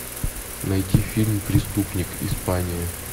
найти фильм преступник испания